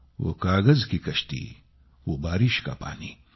वो कागज की कश्ती वो बारिश का पानी